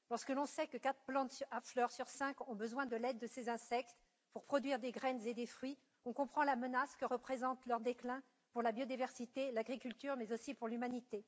Lorsque l'on sait que quatre plantes à fleurs sur cinq ont besoin de l'aide de ces insectes pour produire des graines et des fruits, on comprend la menace que représente leur déclin non seulement pour la biodiversité et l'agriculture, mais aussi pour l'humanité.